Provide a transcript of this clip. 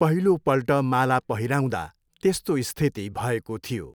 पहिलोपल्ट माला पहिराउँदा त्यस्तो स्थिति भएको थियो।